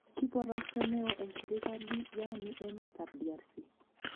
Kibarosto neoo en serkali raani en emet ab DRC